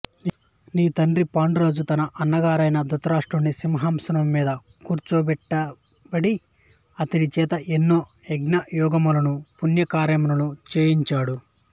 నీ తండ్రి పాండురాజు తన అన్నగారైన ధృతరాష్ట్రుడిని సింహాసనము మీద కూర్చుండబెట్టి అతడిచేత ఎన్నో యజ్ఞయాగములను పుణ్యకార్యములను చేయంచాడు